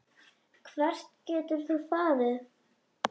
Hvert getur þú farið?